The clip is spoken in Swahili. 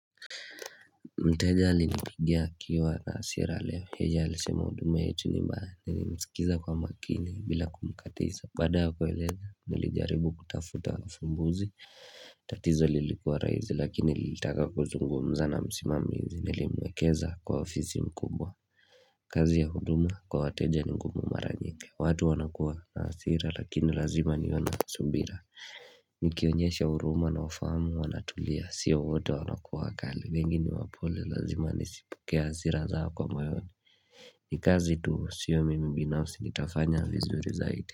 Mteja alinipigia akiwa nasira leo mteja alisema huduma yetu ni mbaya Nili msikiza kwa makini bila kumkatiza Baada ya kueleza nilijaribu kutafuta ufumbuzi tatizo lilikuwa raizi lakini alitaka kuzungumza na msimamizi Nilimwekeza kwa ofisi mkubwa kazi ya huduma kwa wateja ni ngumu maranyingi watu wanakuwa na hasira lakini lazima niwe na subira Nikionyesha huruma na ufahamu wanatulia Sio wote wanakuwa kali wengi ni wapole lazima nisipokee hasira zao kwa mayoni ni kazi tu siyo mimi binafsi nitafanya vizuri zaidi.